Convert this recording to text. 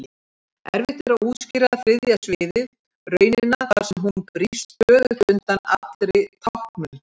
Erfitt er að útskýra þriðja sviðið, raunina þar sem hún brýst stöðugt undan allri táknun.